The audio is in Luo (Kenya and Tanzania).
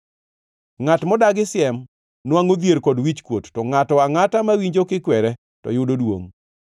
Ngʼat modagi siem nwangʼo dhier kod wichkuot, to ngʼato angʼata mawinjo kikwere to yudo duongʼ.